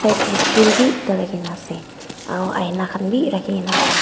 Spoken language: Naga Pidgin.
side te stool bi ekta rakhina ase aru aina khan bi rakhina ase.